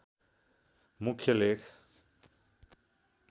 मुख्य लेख